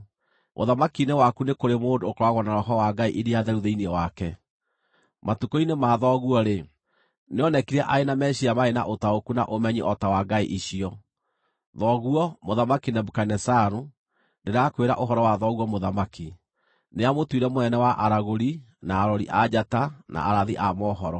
Ũthamaki-inĩ waku nĩ kũrĩ mũndũ ũkoragwo na roho wa ngai iria theru thĩinĩ wake. Matukũ-inĩ ma thoguo-rĩ, nĩonekire arĩ na meciiria marĩ na ũtaũku na ũmenyi o ta wa ngai icio. Thoguo, Mũthamaki Nebukadinezaru, (ndĩrakwĩra ũhoro wa thoguo mũthamaki,) nĩamũtuire mũnene wa aragũri, na arori a njata, na arathi a mohoro.